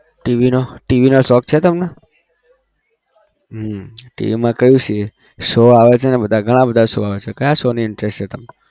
TV નો TV નો શોખ છે તમને? હમ TV માં કઈ સી show આવે છે બધા ઘણા બધા show આવે છે. ક્યાં show નો interest છે તમે?